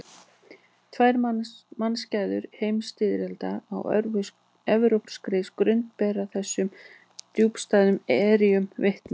Tvær mannskæðar heimsstyrjaldir á evrópskri grund bera þessum djúpstæðu erjum vitni.